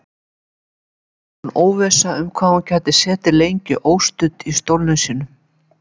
Fram undan óvissa um hvað hún gæti setið lengi óstudd í stólnum sínum.